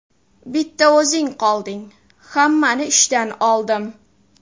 Bitta o‘zing qolding, hammani ishdan oldim.